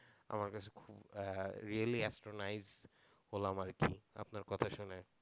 আমার কাছে খুব really astonished হলাম আর কি আপনার কথা শুনে,